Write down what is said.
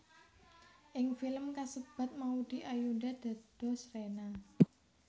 Ing film kasebat Maudy Ayunda dados Rena